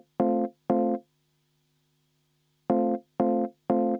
Enne hääletust.